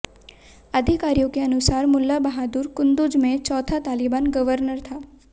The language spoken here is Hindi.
अधिकारियों के अनुसार मुल्ला बहादुर कुंदुज में चौथा तालिबान गर्वनर था